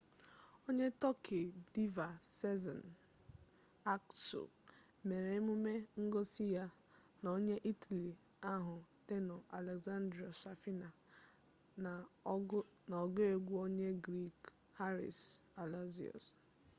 onye tọki diva sezen aksu mere emume ngosi ya na onye itali ahụ tenor alessandro safina na ọgụ egwu onye griik haris alexiou